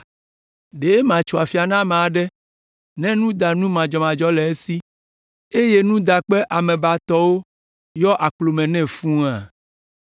Ɖe matso afia na ame aɖe ne nudanu madzɔmadzɔ le esi eye nudakpe amebatɔwo yɔ akplo me nɛ fũua?